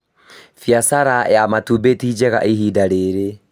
Biacara ya matumbĩ ti njega ihinda rĩrĩ